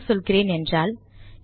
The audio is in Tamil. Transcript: என்ன சொல்கிறேன் என்றால்